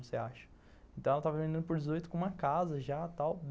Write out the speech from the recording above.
Você acha. Então ela estava vendendo por dezoito com uma casa já a tal